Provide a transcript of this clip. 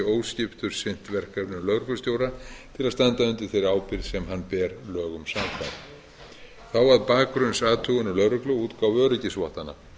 sinnt verkefnum lögreglustjóra til að standa undir þeirri ábyrgð sem hann ber lögum samkvæmt þá að bakgrunnsathugunum lögreglu og útgáfu öryggisvottana